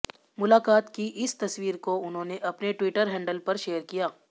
मुलाकात की इस तस्वीर को उन्होने अपने ट्विटर हैंडल पर शेयर किया